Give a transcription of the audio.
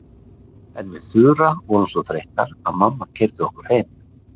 En við Þura vorum svo þreyttar að mamma keyrði okkur heim.